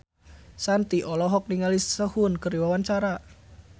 Shanti olohok ningali Sehun keur diwawancara